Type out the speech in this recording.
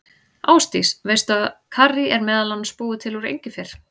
Ásdís, veistu að karrí er meðal annars búið til úr engifer?